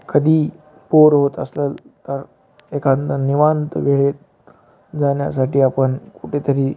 कधी पोर येत आस-ल एकांदया निवांत वेळेत जाण्यासाठि आपण कुठेतरी --